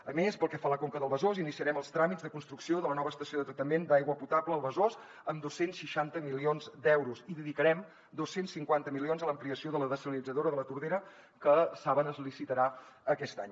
a més pel que fa a la conca del besòs iniciarem els tràmits de construcció de la nova estació de tractament d’aigua potable al besòs amb dos cents i seixanta milions d’euros i dedicarem dos cents i cinquanta milions a l’ampliació de la dessalinitzadora de la tordera que saben que es licitarà aquest any